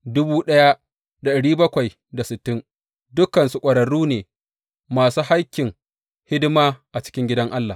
Dukansu ƙwararru ne, masu hakkin hidima a cikin gidan Allah.